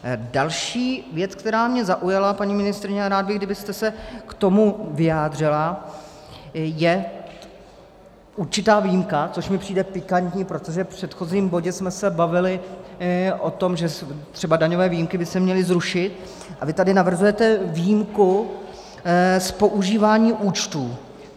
Další věc, která mě zaujala, paní ministryně, a rád bych, kdybyste se k tomu vyjádřila, je určitá výjimka, což mi přijde pikantní, protože v předchozím bodě jsme se bavili o tom, že třeba daňové výjimky by se měly zrušit, a vy tady navrhujete výjimku z používání účtů.